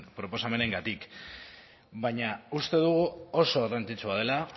proposamenengatik baina uste dugu oso garrantzitsua dela